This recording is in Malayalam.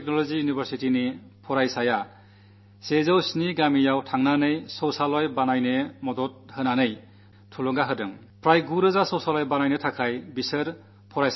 ഗുജറാത്ത് ടെക്നോളജി യൂണിവേഴ്സിറ്റിയിലെ വിദ്യാർഥികൾ 107 ഗ്രാമങ്ങളിൽ പോയി ശൌചാലയ നിർമ്മാണത്തിന് ജാഗരൂകതാ മുന്നേറ്റം നടത്തിയതായി ഈയടുത്ത ദിവസം ഞാൻ പത്രത്തിൽവായിക്കുകയുണ്ടായി